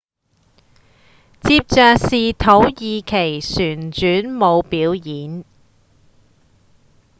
接著是土耳其旋轉舞表演